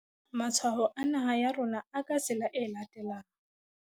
Matshwao a naha ya rona a ka tsela e latelang.